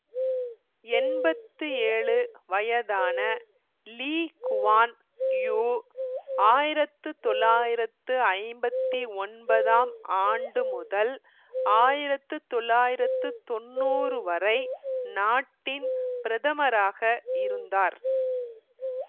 எம்பத்தி ஏழு வயதான Lee Kuan Yew ஆயிரத்து தொள்ளாயிரத்து ஐம்பத்தி ஒன்பதாம் ஆண்டு முதல் ஆயிரத்து தொள்ளாயிரத்து தொன்னூறு வரை நாட்டின் பிரதமராக இருந்தார்